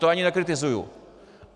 To ani nekritizuju.